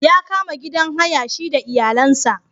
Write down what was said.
Ya kama gidan haya shi da iyalansa.